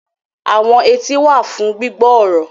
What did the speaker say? Àwọn etí wà fún gbígbọ́ ọ̀rọ̀